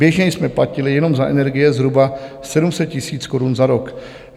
Běžně jsme platili jenom za energie zhruba 700 000 korun za rok.